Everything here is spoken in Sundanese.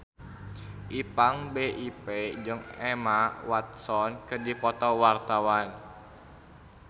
Ipank BIP jeung Emma Watson keur dipoto ku wartawan